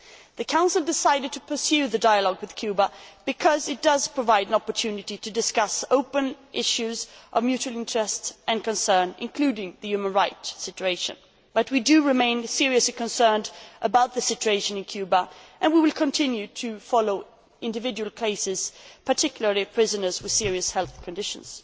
The Council decided to pursue the dialogue with Cuba because it provides an opportunity to discuss open issues of mutual interest and concern, including the human rights situation, but we remain seriously concerned about the situation in Cuba and we will continue to follow individual cases, particularly prisoners with serious health conditions.